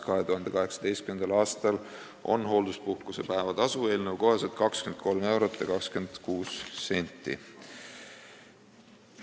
2018. aastal on hoolduspuhkuse päevatasu eelnõu kohaselt 23 eurot ja 26 senti.